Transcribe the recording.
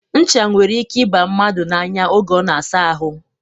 Ncha nwere ike ịba mmadụ n'anya oge ọ na-asa ahụ.